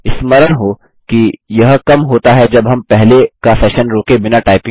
स्मरण हो कि यह कम होता है जब हम पहले का सेशन रोके बिना टाइपिंग रोकें